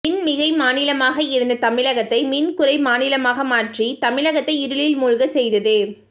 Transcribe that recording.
மின் மிகை மாநிலமாக இருந்த தமிழகத்தை மின் குறை மாநிலமாக மாற்றி தமிழகத்தை இருளில் மூழ்கச் செய்தது